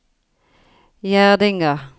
Gjerdinga